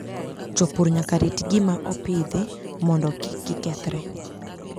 Jopur nyaka rit gik ma opidhi mondo kik gikethre.